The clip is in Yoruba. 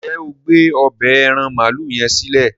njé o gbé ọbẹ́ aràn maalu yen silẹ?